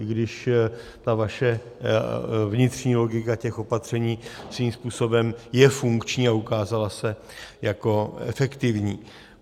I když ta vaše vnitřní logika těch opatření svým způsobem je funkční a ukázala se jako efektivní.